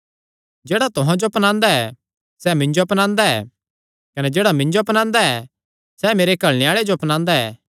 जेह्ड़ा तुहां जो अपनांदा ऐ सैह़ मिन्जो अपनांदा ऐ कने जेह्ड़ा मिन्जो अपनांदा ऐ सैह़ मेरे घल्लणे आल़े जो अपनांदा ऐ